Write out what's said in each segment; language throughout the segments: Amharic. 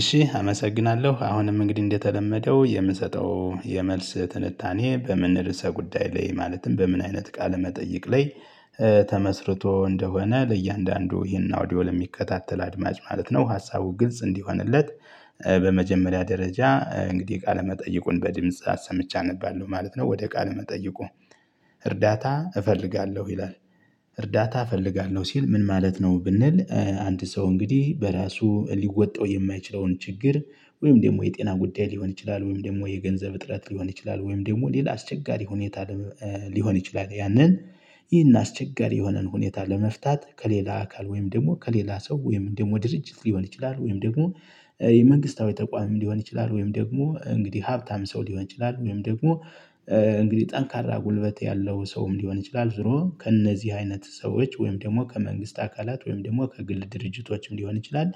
እሺ አመሰግናለሁ አሁንም እንግዲህ እንደተለመደው የምሰጠው የመልስ ትንታኔ በምን ርዕሰ ጉዳይ ላይ ማለትም በምን አይነት ቃል መጠይቅ ላይ ተመስርቶ እንደሆነ ለእያንዳንዱ ይሄን አውዲዮል ለሚከታተል አድማጭ ማለት ነው ሀሳቡ ግልጽ እንዲሆንለት በመጀመሪያ ደረጃ እንግዲህ ቃለመጠይቁን በድምጽ አሰምቸ አነባለሁ ማለት ነው ወደ ቃለ መጠይቁ እርዳታ እፈልጋለሁ ይላል። እርዳታ እፈልጋለሁ ሲል ምን ማለት ነው? ብንል አንድ ሰው እንግዲህ በራሱ ሊወጣው የማይችለውን ችግር ወይም ደግሞ የጤና ጉዳይ ሊሆን ይችላል ወይም ደግሞ የገንዘብ እጥረት ሊሆን ይችላል ወይም ደግሞ ሌላ አስቸጋሪ ሁኔታ ሊሆን ይችላል። ያንን ይህን አስቸጋሪ የሆነን ሁኔታ ለመፍታት ከሌላ አካል ወይም ደግሞ ከሌላ ሰው ወይም ደግሞ ድርጅት ሊሆን ይችላል ወይም ደግሞ የመንግስታዊ ተቋም ሊሆን ይችላል። ወይም ደግሞ እንግዲህ ሀብታም ሰው ሊሆን ይችላል ወይም ደግሞ እንግዲህ ጠንካራ ጉልበት ያለው ሰውም ሊሆን ይችላል። ዝሮ ከእነዚህ አይነት ሰዎች ወይም ደግሞ ከመንግስት አካላት ወይም ደግሞ ከግል ድርጅቶችም ሊሆን ይችላል።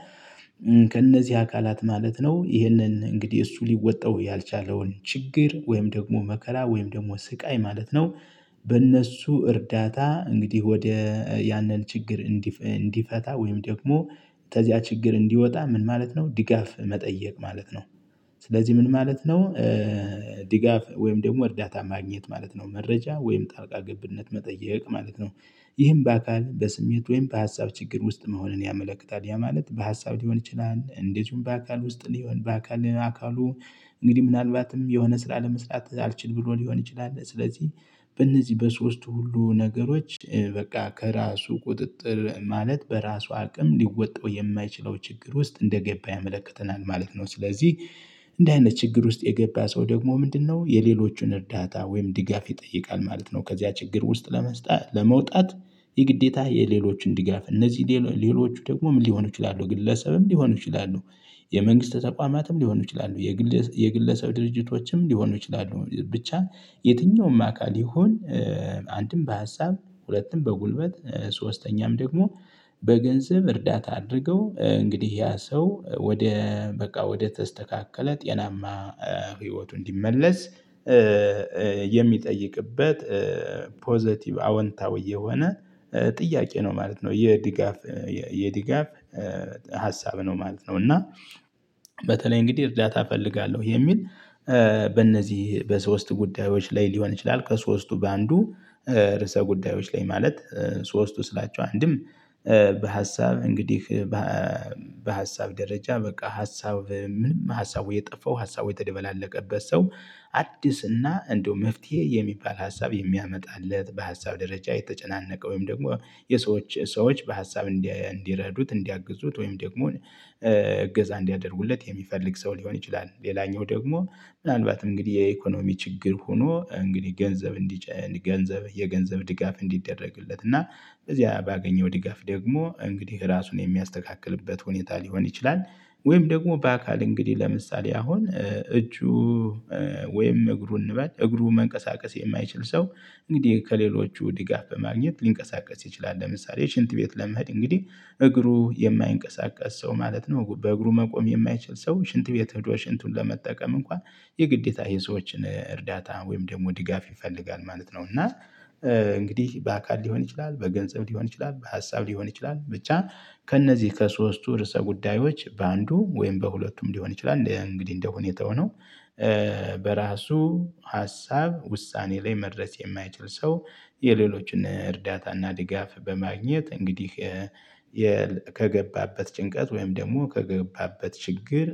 ከእነዚህ አካላት ማለት ነው ይህንን እንግዲህ እሱ ሊወጣው ያልቻለውን ችግር ወይም ደግሞ መከራ ወይም ደግሞ ስቃይ ማለት ነው። በእነሱ እርዳታ እንግዲህ ወደ ያነን ችግር እንዲፈታ ወይም ደግሞ ተዚያ ችግር እንዲወጣ ምን ማለት ነው ድጋፍ መጠየቅ ማለት ነው። ስለዚህ ምን ማለት ነው? ድጋፍ ወይም ደግሞ እርዳታ ማግኘት ማለት ነው መረጃ ወይም ጣልቃ ግብነት መጠየቅ ማለት ነው። ይህም በአካል በስሜት ወይም በሀሳብ ችግር ውስጥ መሆንን ያመለክታል። ያ ማለት በሀሳብ ሊሆን ይችላል እንደዚሁም በአካል ውስጥ ሊሆን በአካል አካሉ እንግዲህ ምናልባትም የሆነ ስራ ለመስራት አልችል ብሎ ሊሆን ይችላል። ስለዚህ በእነዚህ በሶስቱ ሁሉ ነገሮች በቃ ከራሱ ቁጥጥር ማለት በራሱ አቅም ሊወጣው የማይችለው ችግር ውስጥ እንደገባ ያመለክተናል ማለት ነው። ስለዚህ እንዲህ አይነት ችግር ውስጥ የገባ ሰው ደግሞ ምንድነው የሌሎቹን እርዳታ ወይም ድጋፍ ይጠይቃል ማለት ነው። ከዚያ ችግር ውስጥ ለመውጣት የግዴታ የሌሎችን ድጋፍ እነዚህ ሌሎች ደግሞ ምን ሊሆኑ ይችላሉ? ግለሰብም ሊሆኑ ይችላሉ። የመንግስት ተቋማትም ሊሆኑ ይችላሉ። የግል የግለሰብ ድርጅቶችም ሊሆኑ ይችላሉ። ብቻ የትኛውም አካል ይሁን። አንድም በሀሳብ ሁለትም በጉልበት ሶስተኛም ደግሞ በገንዘብ እርዳታ አድርገው እንግዲህ ያ ሰው ወደ በቃ ወደ ተስተካከለ ጤናማ ህይወቱ እንዲመለስ። የሚጠይቅበት ፖዘቲቭ አወንታዊ የሆነ ጥያቄ ነው ማለት ነው። የድጋፍ የድጋፍ ሀሳብ ነው ማለት ነው። እና በተለይ እንግዲህ እርዳታ እፈልጋለሁ የሚል በእነዚህ በሶስት ጉዳዮች ላይ ሊሆን ይችላል። ከሶስቱ በአንዱ ርዕሰ ጉዳዮች ላይ ማለት ሶስቱ ስላቸው አንድም በሀሳብ እንግዲህ በሀሳብ ደረጃ በቃ ሀሳብ ምንም ሀሳቡ የጠፋው ሀሳቡ የተደበላለቀበት ሰው አዲስ እና እንደው መፍትሄ የሚባል ሀሳብ የሚያመጣለት በሀሳብ ደረጃ የተጨናነቀ ወይም ደግሞ የሰዎች ሰዎች በሀሳብ እንዲረዱት እንዲያግዙት ወይም ደግሞ እገዛ እንዲያደርጉለት የሚፈልግ ሰው ሊሆን ይችላል። ሌላኛው ደግሞ ምናልባትም እንግዲህ የኢኮኖሚ ችግር ሆኖ እንግዲህ ገንዘብ እንዲጨን ገንዘብ የገንዘብ ድጋፍ እንዲደረግለት እና እዚያ ባገኘው ድጋፍ ደግሞ እንግዲህ ራሱን የሚያስተካክልበት ሁኔታ ሊሆን ይችላል። ወይም ደግሞ በአካል እንግዲህ ለምሳሌ አሁን እጁ ወይም እግሩ እንበል እግሩ መንቀሳቀስ የማይችል ሰው እንግዲህ ከሌሎቹ ድጋፍ በማግኘት ሊንቀሳቀስ ይችላል። ለምሳሌ ሽንት ቤት ለመሄድ እንግዲህ እግሩ የማይንቀሳቀስ ሰው ማለት ነው በእግሩ መቆም የማይችል ሰው ሽንት ቤት ህዶ ሽንቱን ለመጠቀም እንኳ የግዴታ የሰዎችን እርዳታ ወይም ደግሞ ድጋፍ ይፈልጋል ማለት ነው። እና እንግዲህ በአካል ሊሆን ይችላል በገንዘብ ሊሆን ይችላል በሀሳብ ሊሆን ይችላል። ብቻ ከእነዚህ ከሶስቱ ርዕሰ ጉዳዮች በአንዱ ወይም በሁለቱም ሊሆን ይችላል። እንደ እንግዲህ እንደሁኔታው ነው። በራሱ ሀሳብ ውሳኔ ላይ መድረስ የማይችል ሰው የሌሎችን እርዳታና ድጋፍ በማግኘት እንግዲህ ከገባበት ጭንቀት ወይም ደግሞ ከገባበት ችግር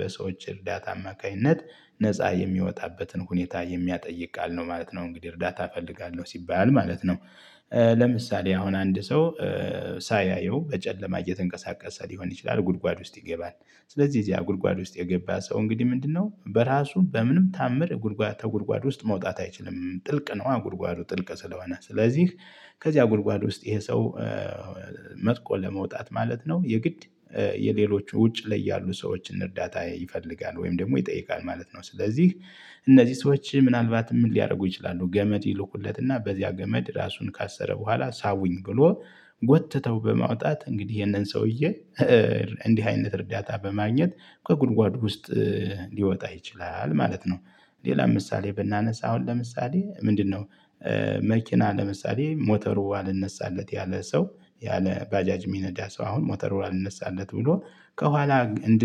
በሰዎች እርዳታ አማካኝነት ነፃ የሚወጣበትን ሁኔታ የሚያጠይቅ ቃል ነው ማለት ነው። እንግዲህ እርዳታ እፈልጋለሁ ሲባል ማለት ነው። ለምሳሌ አሁን አንድ ሰው ሳያየው በጨለማ እየተንቀሳቀሰ ሊሆን ይችላል። ጉድጓድ ውስጥ ይገባል። ስለዚህ ያ ጉድጓድ ውስጥ የገባ ሰው እንግዲህ ምንድነው? በራሱ በምንም ተአምር ጉድጓድ ተጉድጓድ ውስጥ መውጣት አይችልም ጥልቅ ነው። አ ጉድጓዱ ጥልቅ ስለሆነ ስለዚህ ከዚያ ጉድጓድ ውስጥ ይሄ ሰው መጥቆ ለመውጣት ማለት ነው የግድ የሌሎች ውጭ ላይ ያሉ ሰዎችን እርዳታ ይፈልጋል ወይም ደግሞ ይጠይቃል ማለት ነው። ስለዚህ እነዚህ ሰዎች ምናልባትም ምን ሊያደርጉ ይችላሉ? ገመድ ይልኩለትና በዚያ ገመድ ራሱን ካሰረ በኋላ ሳቡኝ ብሎ ጎትተው በማውጣት እንግዲህ ይህንን ሰውዬ እንዲህ አይነት እርዳታ በማግኘት ከጉድጓድ ውስጥ ሊወጣ ይችላል ማለት ነው። ሌላ ምሳሌ ብናነሳ አሁን ለምሳሌ ምንድነው? መኪና ለምሳሌ ሞተሩ አልነሳለት ያለ ሰው ያለ ባጃጅ ሚነዳ ሰው አሁን ሞተሩ አልነሳለት ብሎ ከኋላ እንድ